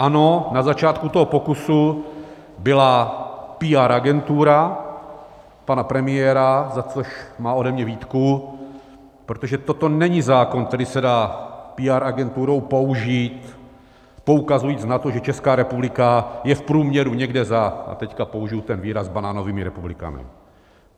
Ano, na začátku toho pokusu byla PR agentura pana premiéra, za což má ode mě výtku, protože toto není zákon, který se dá PR agenturou použít poukazujíc na to, že Česká republika je v průměru někde za - a teď použiji ten výraz - banánovými republikami.